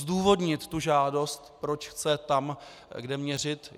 Zdůvodnit tu žádost, proč chce tam, kde měřit.